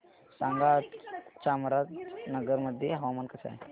सांगा आज चामराजनगर मध्ये हवामान कसे आहे